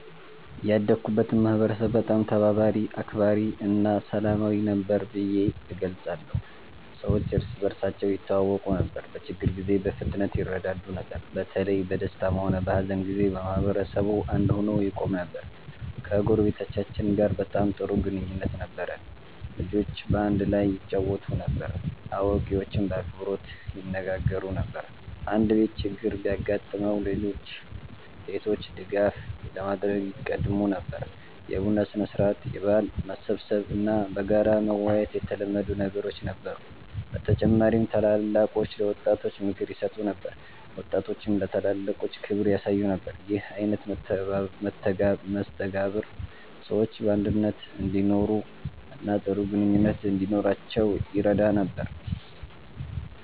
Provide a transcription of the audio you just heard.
ያደግኩበትን ማህበረሰብ በጣም ተባባሪ፣ አክባሪ እና ሰላማዊ ነበር ብዬ እገልጸዋለሁ። ሰዎች እርስ በርሳቸው ይተዋወቁ ነበር፣ በችግር ጊዜም በፍጥነት ይረዳዱ ነበር። በተለይ በደስታም ሆነ በሀዘን ጊዜ ማህበረሰቡ አንድ ሆኖ ይቆም ነበር። ከጎረቤቶቻችን ጋር በጣም ጥሩ ግንኙነት ነበረን። ልጆች በአንድ ላይ ይጫወቱ ነበር፣ አዋቂዎችም በአክብሮት ይነጋገሩ ነበር። አንድ ቤት ችግር ቢያጋጥመው ሌሎች ቤቶች ድጋፍ ለማድረግ ይቀድሙ ነበር። የቡና ሥነ-ሥርዓት፣ የበዓል መሰብሰብ እና በጋራ መወያየት የተለመዱ ነገሮች ነበሩ። በተጨማሪም ታላላቆች ለወጣቶች ምክር ይሰጡ ነበር፣ ወጣቶችም ለታላላቆች ክብር ያሳዩ ነበር። ይህ አይነት መስተጋብር ሰዎች በአንድነት እንዲኖሩ እና ጥሩ ግንኙነት እንዲኖራቸው ይረዳ ነበር።